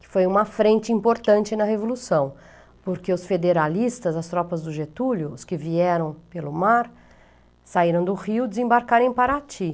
que foi uma frente importante na Revolução, porque os federalistas, as tropas do Getúlio, os que vieram pelo mar, saíram do Rio e desembarcaram em Paraty.